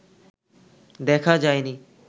দেখা যায়নি